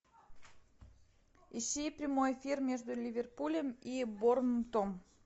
ищи прямой эфир между ливерпулем и борнмутом